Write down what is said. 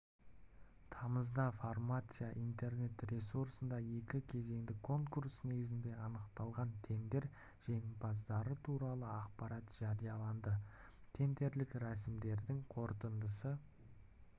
тамызда фармация интернет-ресурсында екі кезеңдік конкурс негізінде анықталған тендер жеңімпаздары туралы ақпарат жарияланады тендерлік рәсімдердің қорытындысы